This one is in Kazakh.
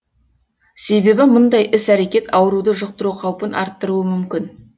себебі мұндай іс әрекет ауруды жұқтыру қаупін арттыруы мүмкін